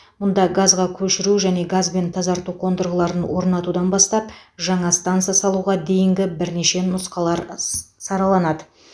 мұнда газға көшіру және газбен тазарту қондырғыларын орнатудан бастап жаңа станса салуға дейінгі бірнеше нұсқалар сараланады